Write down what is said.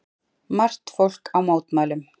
Margt fólk á mótmælum